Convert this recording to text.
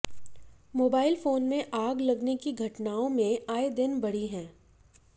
mobile phone में आग लगने की घटनाओं में आए दिन बढ़ी हैं